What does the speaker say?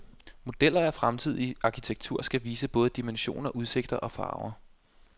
Modeller af fremtidig arkitektur skal vise både dimensioner, udsigter og farver.